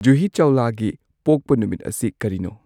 ꯖꯨꯍꯤ ꯆꯧꯂꯥꯒꯤ ꯄꯣꯛꯄ ꯅꯨꯃꯤꯠ ꯑꯁꯤ ꯀꯔꯤꯅꯣ